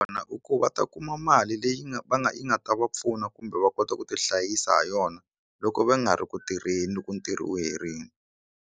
I ku va ta kuma mali leyi nga va nga yi nga ta va pfuna kumbe va kota ku ti hlayisa ha yona loko va nga ri ku tirheni loko ntirho wu herile.